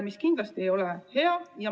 See kindlasti ei ole hea.